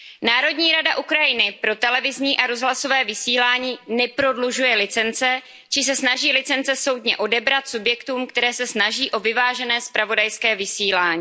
Národní rada Ukrajiny pro televizní a rozhlasové vysílání neprodlužuje licence či se snaží licence soudně odebrat subjektům, které se snaží o vyvážené zpravodajské vysílání.